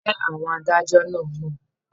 Ǹjẹ́ àwọn adájọ́ náà mọ̀?